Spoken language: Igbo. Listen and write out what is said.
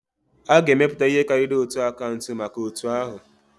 A ga-emepụta ihe karịrị otu akaụntụ maka otu ahu